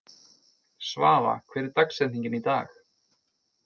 Svafa, hver er dagsetningin í dag?